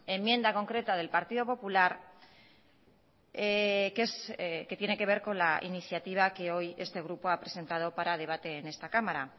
enmienda concreta del partido popular que tiene que ver con la iniciativa que hoy este grupo ha presentado para debate en esta cámara